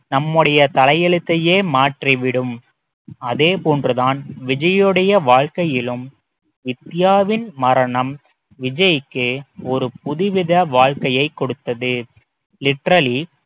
நம்முடைய தலையெழுத்தையே மாற்றி விடும் அதே போன்றுதான் விஜயுடைய வாழ்க்கையிலும் வித்தியாவின் மரணம் விஜய்க்கு ஒரு புதுவித வாழ்க்கையைக் கொடுத்தது literally